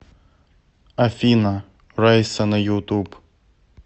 афина раса на ютуб